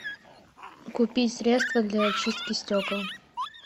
купи средство для очистки стекол